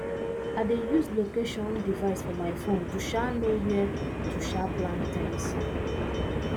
i dey use location device for my phone to um know where to um plant things